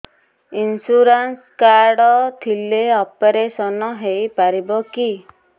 insurance card ଥିଲେ operation ହେଇପାରିବ କି